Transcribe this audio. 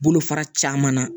Bolofara caman na